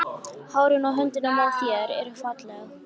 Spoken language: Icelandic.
Hárin á höndunum á þér eru falleg.